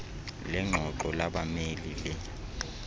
lengxoxo labameli le